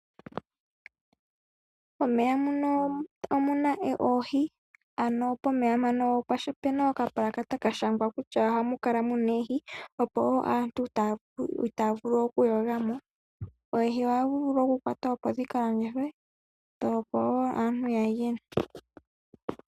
Puundama, pomatale oshowoo pulwe ohapukala pwa ndhindhililkwa kutya ohapu kala oohi. Ohapu kala pwa ndhindhililkwa nomapulakata. Shika ohashi etitha aantu kaaya mbwinde , okukakeka momeya oshowoo okutekamo molwaashoka omuna oohi. Ngele dhakoko ohadhi fala komahala gomashingitho opo aantu yiimonenemo iiyemo.